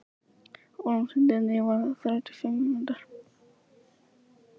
Vorm, hringdu í Nývarð eftir þrjátíu og fimm mínútur.